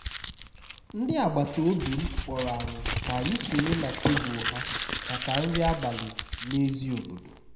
ndị agbata obi m kpọrọ anyị ka anyị sonye na tebụl ha maka nri abalị n'èzí obodo